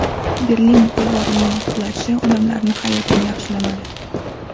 Berlin devorining qulashi odamlarning hayotini yaxshilamadi.